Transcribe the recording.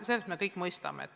Seda me kõik mõistame.